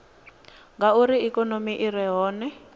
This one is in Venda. ngauri ikonomi i re hone